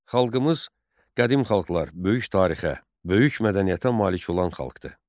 Xalqımız qədim xalqlar, böyük tarixə, böyük mədəniyyətə malik olan xalqdır.